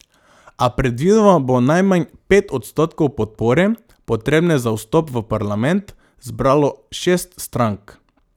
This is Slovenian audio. A predvidoma bo najmanj pet odstotkov podpore, potrebne za vstop v parlament, zbralo šest strank.